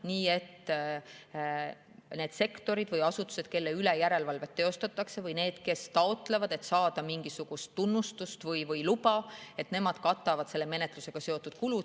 Nii et need sektorid või asutused, kelle üle järelevalvet teostatakse, või need, kes taotlevad mingisugust tunnistust või luba, katavad menetlusega seotud kulud.